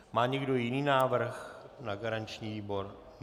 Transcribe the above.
Má někdo jiný návrh na garanční výbor?